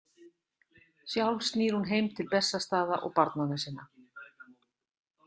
Sjálf snýr hún heim til Bessastaða og barnanna sinna.